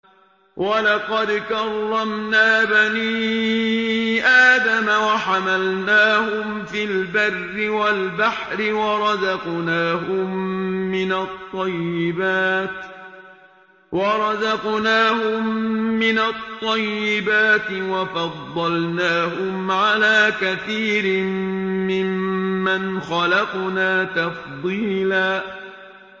۞ وَلَقَدْ كَرَّمْنَا بَنِي آدَمَ وَحَمَلْنَاهُمْ فِي الْبَرِّ وَالْبَحْرِ وَرَزَقْنَاهُم مِّنَ الطَّيِّبَاتِ وَفَضَّلْنَاهُمْ عَلَىٰ كَثِيرٍ مِّمَّنْ خَلَقْنَا تَفْضِيلًا